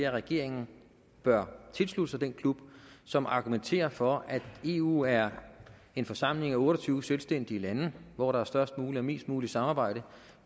at regeringen bør tilslutte sig den klub som argumenterer for at eu er en forsamling af otte og tyve selvstændige lande hvor der er størst muligt og mest muligt samarbejde